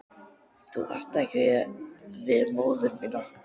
Ég átti ekki við móður mína.